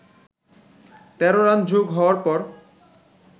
১৩ run যোগ হওয়ার পর